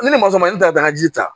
Ni ne ma sɔn ne ta dagaji ta